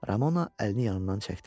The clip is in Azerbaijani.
Ramona əlini yanından çəkdi.